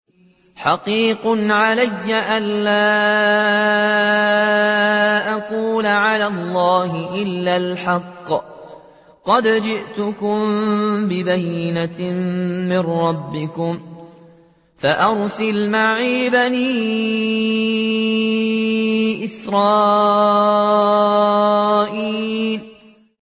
حَقِيقٌ عَلَىٰ أَن لَّا أَقُولَ عَلَى اللَّهِ إِلَّا الْحَقَّ ۚ قَدْ جِئْتُكُم بِبَيِّنَةٍ مِّن رَّبِّكُمْ فَأَرْسِلْ مَعِيَ بَنِي إِسْرَائِيلَ